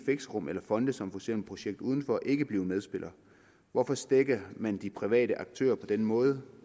fixerum eller fonde som projekt udenfor ikke blive medspillere hvorfor stækker man de private aktører på den måde